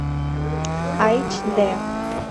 айч д